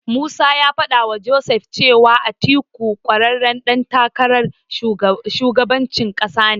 Musa ya faɗawa Joseph cewa Atiku ƙwararren ɗan takarar shugabancin ƙasa ne.